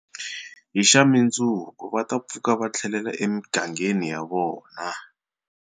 Hi xa mundzuku va ta pfuka va thlelela e migangeni ya vona.